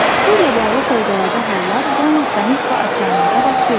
Su ilə bağlı fövqəladə hallar yalnız dəniz və okeanlarda baş vermir.